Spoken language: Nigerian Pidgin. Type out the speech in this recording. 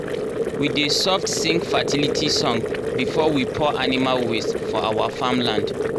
we dey soft sing fertility song before we pour animal waste for our farm land.